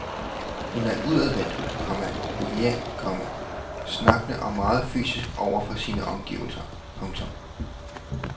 Han er udadvendt, komma jovial, komma snakkende og meget fysisk over for sine omgivelser. punktum